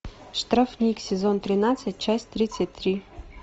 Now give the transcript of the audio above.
штрафник сезон тринадцать часть тридцать три